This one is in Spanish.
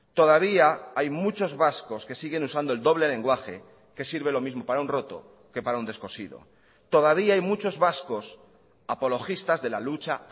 todavía hay muchos vascos que siguen usando el doble lenguaje que sirve lo mismo para un roto que para un descosido todavía hay muchos vascos apologistas de la lucha